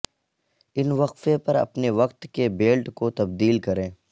ان وقفے پر اپنے وقت کے بیلٹ کو تبدیل کریں